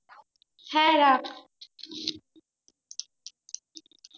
হ্যাঁ রাখ